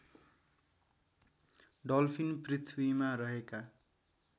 dolphin पृथ्वीमा रहेका